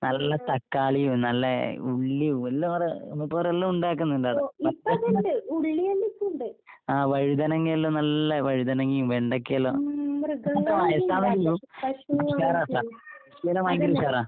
നല്ല തക്കാളിയും നല്ല ഉള്ളിയും എല്ലാം കൊറേ മൂപ്പരെല്ലാം ഉണ്ടാക്ക്ന്ന്ണ്ട് ആടെ. അത്രയ്ക്കും ആഹ് വഴുതനങ്ങയെല്ലാം നല്ല വഴുതനങ്ങയും വെണ്ടക്കയെല്ലാം ഇപ്പ വയസ്സാന്നേ ഉള്ളു ഇല്ലേനാ ഭയങ്കര ഉഷാറാ.